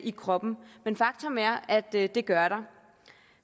i kroppen men faktum er at det det gør der